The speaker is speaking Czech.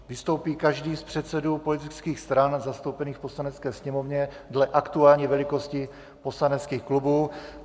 Vystoupí každý z předsedů politických stran zastoupených v Poslanecké sněmovně dle aktuální velikosti poslaneckých klubů.